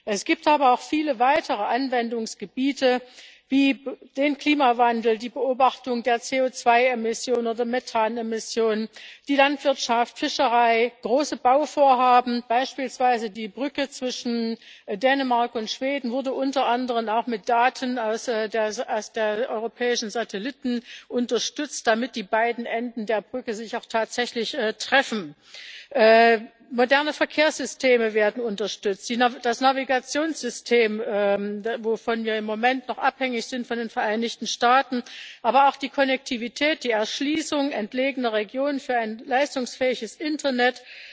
Es gibt aber auch viele weitere Anwendungsgebiete, wie den Klimawandel, die Beobachtung der CO2 oder Methan Emissionen, die Landwirtschaft, Fischerei, große Bauvorhaben beispielsweise wurde die Brücke zwischen Dänemark und Schweden unter anderem auch mit Daten von europäischen Satelliten unterstützt, damit die beiden Enden der Brücke sich auch tatsächlich treffen. Moderne Verkehrssysteme werden unterstützt, auch das Navigationssystem bei dem wir im Moment noch von den Vereinigten Staaten abhängig sind aber auch die Konnektivität, die Erschließung entlegener Regionen für ein leistungsfähiges Internet